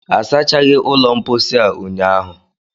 Asachaghi ụlọ mposi a ụnyaahụ